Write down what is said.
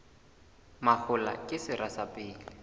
mahola ke sera sa pele